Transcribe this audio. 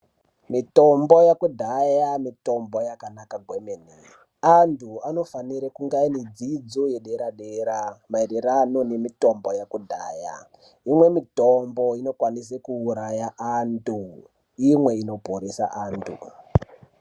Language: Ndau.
Mitombo yekudhaya mitombo yakanaka kwemene antu anofanire kunge aine dzidzo yedera dera maererano nemitombo yekudhaya, imwe mitombo inokwanise kuuraya antu imwe inoporesa antu.